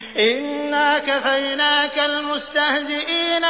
إِنَّا كَفَيْنَاكَ الْمُسْتَهْزِئِينَ